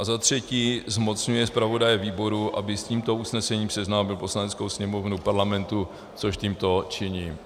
A za třetí zmocňuje zpravodaje výboru, aby s tímto usnesením seznámil Poslaneckou sněmovnu Parlamentu, což tímto činím.